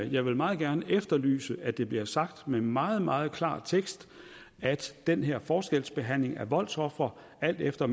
jeg vil meget gerne efterlyse at det bliver sagt med meget meget klar tekst at den her forskelsbehandling af voldsofre alt efter